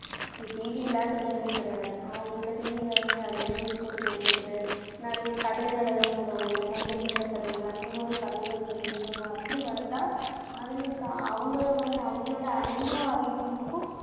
TV இல்லாத வீடே கிடையாது. அவங்களுக்கு TV ல வந்து அந்த news போட்டு கொடுக்கிறது, நெறைய கதைகள் எல்லாம் போடுவாங்கள இல்ல பஞ்சதந்திர கதைகள் அந்த மாதிரி கதைங்க சொல்லி நம்ம அப்படி வளத்தா, அதுங்களுக்கு அவங்கள வந்து அவங்களோட அறிவும் அதிகமாகும்